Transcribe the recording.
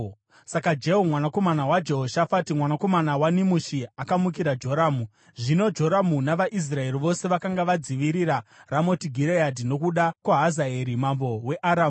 Saka Jehu, mwanakomana waJehoshafati, mwanakomana waNimishi, akamukira Joramu. (Zvino Joramu navaIsraeri vose vakanga vadzivirira Ramoti Gireadhi nokuda kwaHazaeri mambo weAramu.